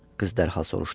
Qız dərhal soruşdu.